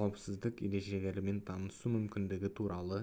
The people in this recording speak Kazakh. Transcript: қауіпсіздік ережелерімен танысу мүмкіндігі туралы